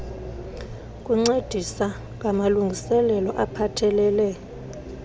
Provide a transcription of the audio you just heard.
kuncedisa ngamalungiselelo aphathelele